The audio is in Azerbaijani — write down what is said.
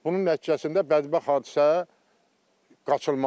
Bunun nəticəsində bədbəxt hadisə qaçılmazdır.